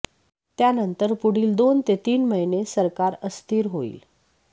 त्यानंतर पुढील दोन ते तीन महिने सरकार अस्थिर होईल